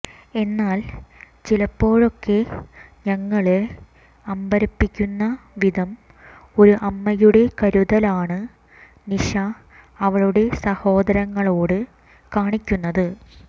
എന്നാൽ ചിലപ്പോഴൊക്കെ ഞങ്ങളെ അമ്പരപ്പിക്കുന്ന വിധം ഒരു അമ്മയുടെ കരുതലാണ് നിഷ അവളുടെ സഹോദരങ്ങളോട് കാണിക്കുന്നത്